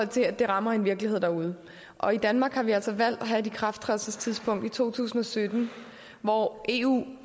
til at det rammer en virkelighed derude og i danmark har vi altså valgt at have et ikrafttrædelsestidspunkt i to tusind og sytten hvor eu